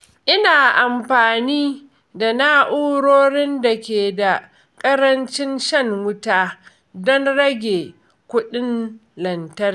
Ina amfani da na’urorin da ke da ƙarancin shan wuta don rage kuɗin lantarki.